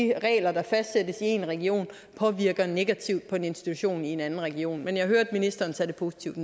en region påvirker negativt på en institution i en anden region men jeg hørte ministeren tage det positivt